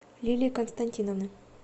лилии константиновны